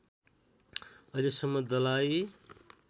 अहिले सम्म दलाइ